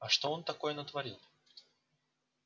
а что он такое натворил